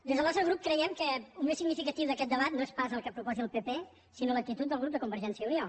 des del nostre grup creiem que el més significatiu d’aquest debat no és pas el que proposi el pp sinó l’actitud del grup de convergència i unió